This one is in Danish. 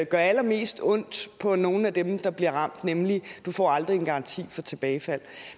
allermest ondt på nogle af dem der bliver ramt nemlig du får aldrig en garanti for tilbagefald